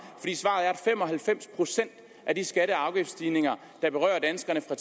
fem og halvfems procent af de skatte og afgiftsstigninger der berører danskerne fra